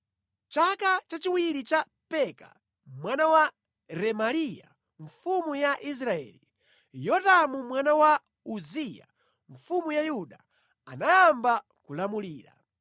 Mʼchaka chachiwiri cha Peka mwana wa Remaliya mfumu ya Israeli, Yotamu mwana wa Uziya mfumu ya Yuda anayamba kulamulira.